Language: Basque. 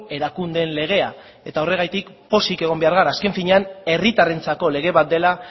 erakundeen legea eta horregatik pozik egon behar gara azken finean herritarrentzako lege bat dela